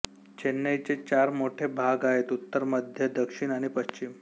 चेन्नईचे चार मोठे भाग आहेत उत्तर मध्य दक्षिण आणि पश्चिम